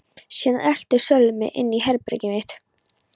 Síðan elti Sölvi mig inn í herbergið mitt.